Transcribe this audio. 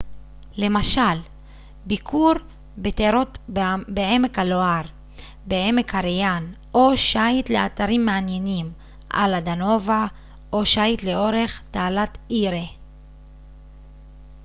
למשל ביקור בטירות בעמק הלואר בעמק הריין או שיט לאתרים מעניינים על הדנובה או שיט לאורך תעלת אירי